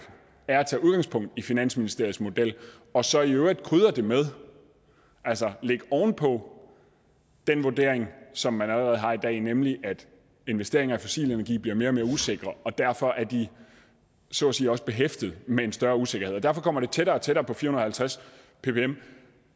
er at tage udgangspunkt i finansministeriets model og så i øvrigt krydre det med altså lægge det oven på den vurdering som man allerede har i dag nemlig at investeringer i fossil energi bliver mere og mere usikre derfor er de så at sige også behæftet med en større usikkerhed og derfor kommer det tættere og tættere på fire hundrede og halvtreds ppm